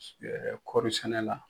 kɔɔri sɛnɛ la.